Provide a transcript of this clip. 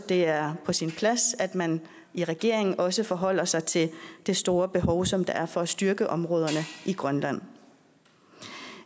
det er på sin plads at man i regeringen også forholder sig til det store behov som der er for at styrke områderne i grønland